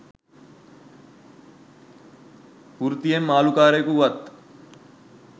වෘතියෙන් මාලුකරයෙකු වූවත්